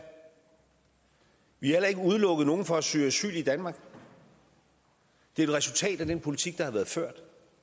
vi har heller ikke udelukket nogen fra at søge asyl i danmark det er et resultat af den politik der har været ført